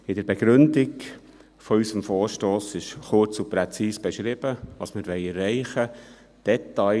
In der Begründung unseres Vorstosses ist kurz und präzise beschrieben, was wir erreichen wollen.